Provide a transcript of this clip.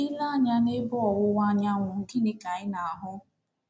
I, lee anya n’ebe ọwụwa anyanwụ, gịnịkwa ka ị na-ahụ?